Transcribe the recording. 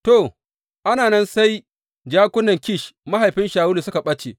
To, ana nan sai jakunan Kish mahaifin Shawulu suka ɓace.